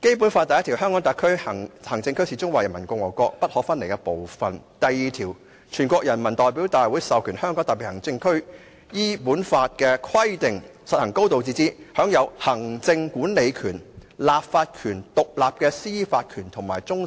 例如，按照《基本法》第一條，香港特別行政區是中華人民共和國不可分離的部分；第二條規定，人大授權香港特別行政區依本法的規定實行"高度自治"，享有行政管理權、立法權、獨立的司法權和終審權。